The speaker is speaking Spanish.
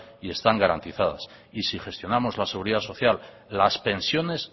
y están garantizadas y si gestionamos la seguridad social las pensiones